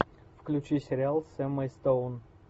включи сериал с эммой стоун